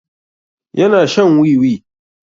Yana shan wiwi.